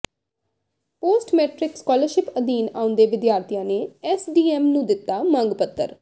post-matric scholarship ਅਧੀਨ ਆਉਂਦੇ ਵਿਦਿਆਰਥੀਆਂ ਨੇ ਐੱਸਡੀਐੱਮ ਨੂੰ ਦਿੱਤਾ ਮੰਗ ਪੱਤਰ